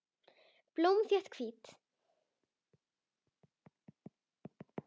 Blómin þétt, hvít.